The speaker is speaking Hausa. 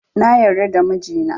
Na yarda da mijina